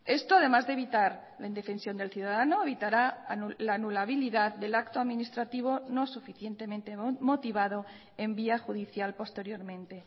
esto además de evitar la indefensión del ciudadano evitará la anulabilidad del acto administrativo no suficientemente motivado en vía judicial posteriormente